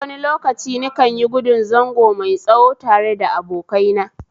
Eh, wani lokaci nikanyigudun zango mai tsawo tare da abokaina